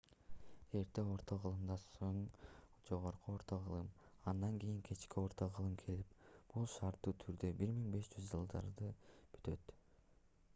эрте орто кылымдан соң жогорку орто кылым андан кийин кечки орто кылым келип бул шарттуу түрдө 1500-жылдары бүтөт